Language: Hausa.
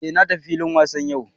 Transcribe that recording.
Eh na tafi filin wasa yau